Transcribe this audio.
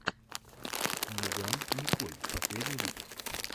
меган николь последний выпуск